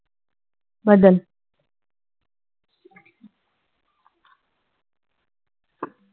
बदल.